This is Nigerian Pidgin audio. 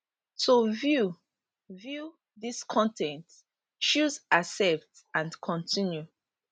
to view view dis con ten t choose accept and continue